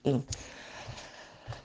ум